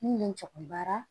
Min bɛ n ja baara